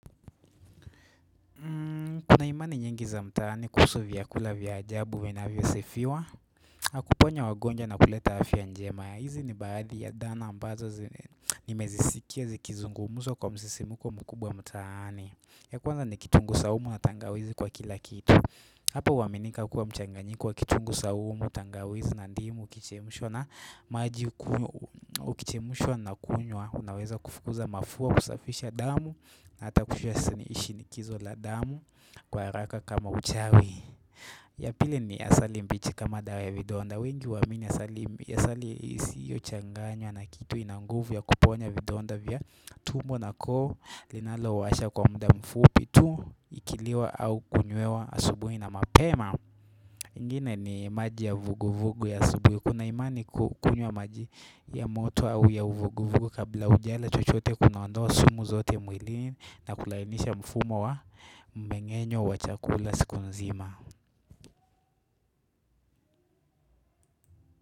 Kuna imani nyingi za mtaani kuhusu vyakula vya ajabu vinavyosifiwa na kuponya wagonjwa na kuleta hafya njema hizi ni baadhi ya dhana ambazo nimezisikia zikizungumuswa kwa msisimuko mkubwa mtaani ya kwanza ni kitungu saumu na tangawizi kwa kila kitu Hapo huaminika kuwa mchanganyiko wa kitunguu saumu, tangawizi na ndimu, ukichemushwa na maji ukichemushwa na kunywa unaweza kufukuza mafua kusafisha damu na ata kufuwa shinikizo la damu Kwa haraka kama uchawi ya pili ni asali mbichi kama dawa ya vidonda wengi waamini asali isiyo changanywa na kitu ina nguvu ya kuponya vidonda vya tumbo na koo linalo washa kwa muda mfupi tu Ikiliwa au kunywewa asubuhi na mapema ingine ni maji ya vuguvugu ya asubuhi Kuna imani kuwa ukunywa maji ya moto ua ya uvuguvugu kabla ujala chochote kunaondowa sumu zote mwilini na kulainisha mfumo wa mmengenyo wa chakula siku nzima.